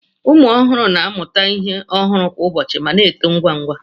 Ụmụ ọhụrụ na-amụta ihe ọhụrụ kwa ụbọchị ma na-eto ngwa ngwa